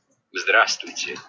здравствуй